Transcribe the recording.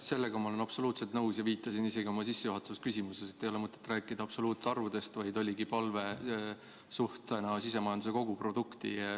Sellega ma olen absoluutselt nõus ja viitasin isegi oma sissejuhatavas küsimuses sellele, et ei ole mõtet rääkida absoluutarvudest, vaid oligi palve rääkida sellest suhtena sisemajanduse koguprodukti.